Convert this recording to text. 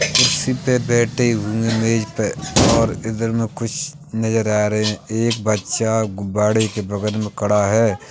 कुर्सी पर बैठे हुए मेज पर और इधर में कुछ नजर आ रहे हैं। एक बच्चा गुब्बारे के बगल में खड़ा है।